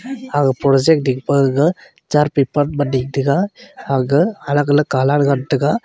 ag porject ding pe gaga char paper ma ding tega ag alag-alag colour ngan tega.